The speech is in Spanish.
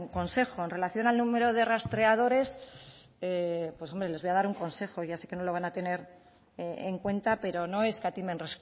consejo en relación al número de recreadores pues hombre les voy a dar un consejo ya sé que no lo van a tener en cuenta pero no escatimen